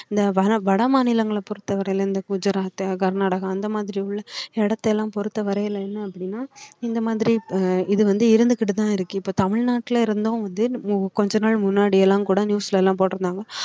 இந்த வன~ வட மாநிலங்களை பொறுத்தவரையில இந்த குஜராத், கர்நாடகா அந்த மாதிரி உள்ள இடத்தை எல்லாம் பொறுத்தவரையில என்ன அப்படின்னா இந்த மாதிரி ப~ இது வந்து இருந்துகிட்டு தான் இருக்கு இப்ப தமிழ்நாட்டுல இருந்தும் வந்து உ~ கொஞ்ச நாள் முன்னாடி எல்லாம் கூட news ல எல்லாம் போட்டிருந்தாங்க